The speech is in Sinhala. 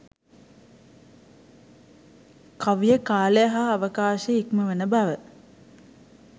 කවිය කාලය හා අවකාශය ඉක්මවන බව.